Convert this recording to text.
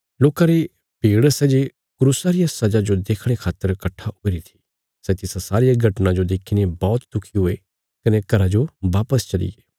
लोकां री भीड़ सै जे क्रूसा रिया सजा जो देखणे खातर कट्ठा हुईरी थी सै तिसा सारिया घटना जो देखीने बौहत दुखी हुये कने घरा जो वापस चलिये